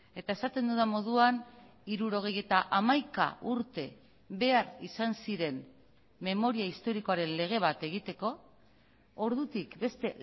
eta esaten dudan moduan hirurogeita hamaika urte behar izan ziren memoria historikoaren lege bat egiteko ordutik beste